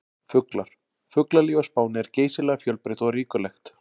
Fuglar: Fuglalíf á Spáni er geysilega fjölbreytt og ríkulegt.